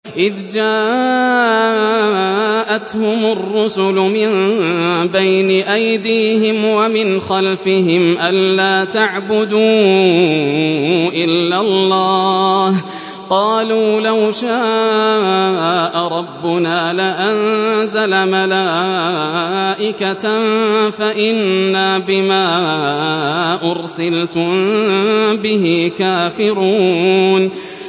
إِذْ جَاءَتْهُمُ الرُّسُلُ مِن بَيْنِ أَيْدِيهِمْ وَمِنْ خَلْفِهِمْ أَلَّا تَعْبُدُوا إِلَّا اللَّهَ ۖ قَالُوا لَوْ شَاءَ رَبُّنَا لَأَنزَلَ مَلَائِكَةً فَإِنَّا بِمَا أُرْسِلْتُم بِهِ كَافِرُونَ